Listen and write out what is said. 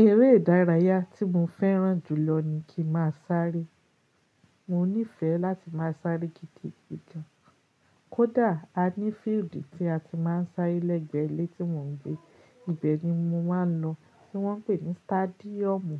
Eré ìdárayá tí mo fẹ́ràn jùlọ ni kí n ma sáré. Mo nífẹ̀ẹ́ láti máa sáré gidi, gidi. Kódà a ní fíídì tí a ti máa ń sáré lẹ́gbẹ́ ilé tí mò ń gbé. Ibẹ̀ ni mo máa ń lọ, tí wọ́n ń pè ní stádíọ̀mù.